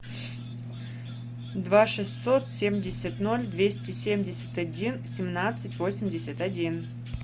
два шестьсот семьдесят ноль двести семьдесят один семнадцать восемьдесят один